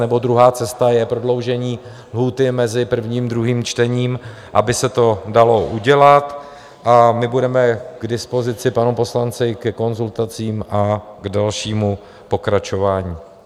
Nebo druhá cesta je prodloužení lhůty mezi prvním a druhým čtením, aby se to dalo udělat, a my budeme k dispozici panu poslanci ke konzultacím a k dalšímu pokračování.